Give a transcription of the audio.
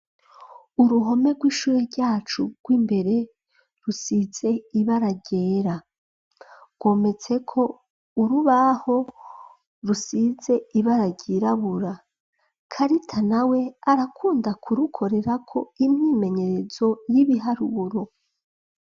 Uruhome rw'ishure ryacu rw'imbere rusize iba aragera rwometseko urubaho rusize iba aragyirabura karita na we arakunda kurukorerako impwimenyerezo y'ibiharuburo.